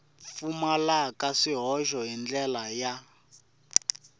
pfumalaka swihoxo hi ndlela ya